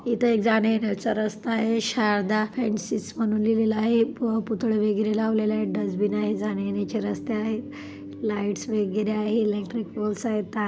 इथं एक जाणे येण्याचा रस्ता आहे शारदा फॅन्सिस म्हणून लिहिलेल आहे पू पुतळे वगैरे लावलेले आहे डस्टबिन आहे जाणे येण्याचे रस्ते आहे लाइट्स वगैरे आहे इलेक्ट्रिक पोल्स आहेत तार--